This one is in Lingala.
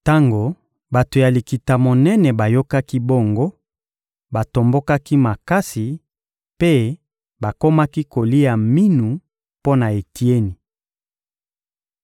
Tango bato ya Likita-Monene bayokaki bongo, batombokaki makasi mpe bakomaki kolia minu mpo na Etieni.